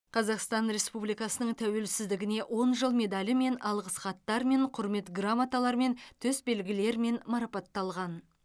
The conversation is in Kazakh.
қазақстан республикасының тәуелсіздігіне он жыл медалімен алғыс хаттармен құрмет грамоталарымен төсбелгілермен марапатталған